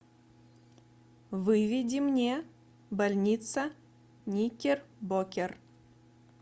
выведи мне больница никербокер